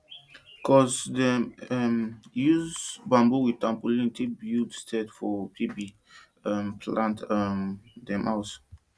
cuz dem um dey use bamboo with tapolin take build shed for baby um plant um dem house